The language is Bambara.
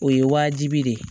O ye wajibi de ye